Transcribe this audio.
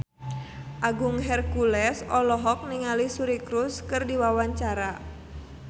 Agung Hercules olohok ningali Suri Cruise keur diwawancara